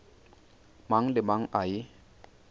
mang le mang a e